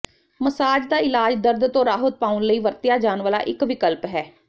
massage ਦਾ ਇਲਾਜ ਦਰਦ ਤੋਂ ਰਾਹਤ ਪਾਉਣ ਲਈ ਵਰਤਿਆ ਜਾਣ ਵਾਲਾ ਇੱਕ ਵਿਕਲਪ ਹੈ